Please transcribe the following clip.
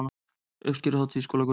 Uppskeruhátíð í skólagörðum